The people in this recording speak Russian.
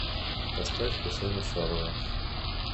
поставь хусена шалова